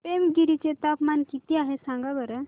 पेमगिरी चे तापमान किती आहे सांगा बरं